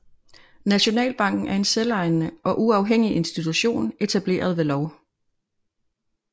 Nationalbanken er en selvejende og uafhængig institution etableret ved lov